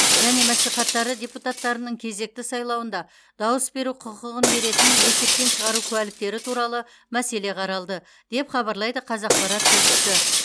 және мәслихаттары депутаттарының кезекті сайлауында дауыс беру құқығын беретін есептен шығару куәліктері туралы мәселе қаралды деп хабарлайды қазақпарат тілшісі